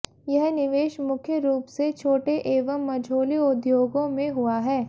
यह निवेश मुख्य रूप से छोटे एवं मझोले उद्योगों में हुआ है